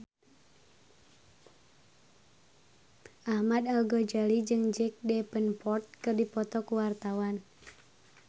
Ahmad Al-Ghazali jeung Jack Davenport keur dipoto ku wartawan